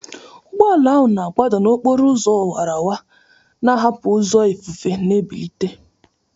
Ụgbọ ala ahụ na-agbada n'okporo ụzọ awara awara, na-ahapụ ụzọ ifufe na-ebilite.